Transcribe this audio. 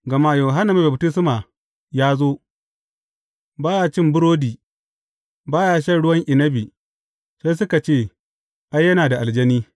Gama Yohanna Mai Baftisma ya zo, ba ya cin burodi, ba ya shan ruwan inabi, sai kuka ce, Ai, yana da aljani.’